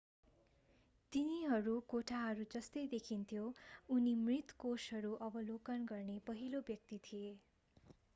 तिनीहरू कोठाहरू जस्तै देखिन्थ्यो उनी मृत कोषहरू अवलोकन गर्ने पहिलो व्यक्ति थिए